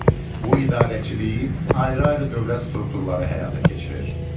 Bu idarəçiliyi ayrı-ayrı dövlət strukturları həyata keçirir.